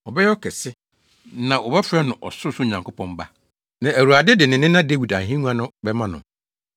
Ɔbɛyɛ ɔkɛse, na wɔbɛfrɛ no Ɔsorosoro Nyankopɔn Ba. Na Awurade de ne nena Dawid ahengua no bɛma no.